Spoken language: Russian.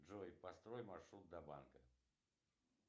джой построй маршрут до банка